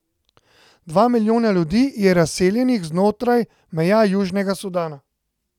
Dva milijona ljudi je razseljenih znotraj meja Južnega Sudana.